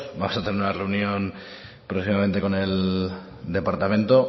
vamos a tener una reunión próximamente con el departamento